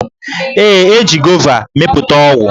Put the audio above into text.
Ee, e ji gova mepụta ọgwụ.